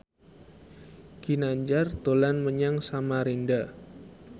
Ginanjar dolan menyang Samarinda